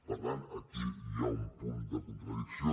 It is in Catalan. per tant aquí hi ha un punt de contradicció